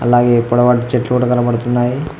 అలాగే పొడవాటి చెట్లు కూడ కనబడుతున్నాయి.